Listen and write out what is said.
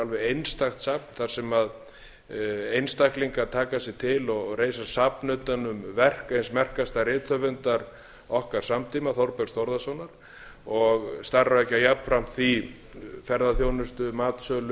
einstakt safn þar sem einstaklingar tak sig til og reisa safn utan um verk eins merkasta rithöfundar okkar samtíma þórbergs þórðarsonar og starfrækja jafnframt því ferðaþjónustu matsölu og